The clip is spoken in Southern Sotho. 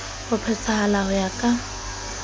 ho phethahala ho ya ka